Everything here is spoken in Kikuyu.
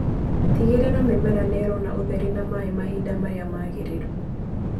Tigĩrĩra mĩmera nĩirona ũtheri na maĩ mahinda maria magĩrĩru.